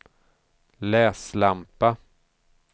läslampa